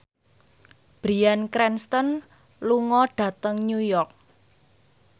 Bryan Cranston lunga dhateng New York